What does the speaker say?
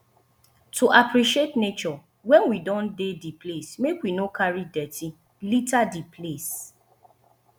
to appreciate nature when we don dey di place make we no carry dirty liter di place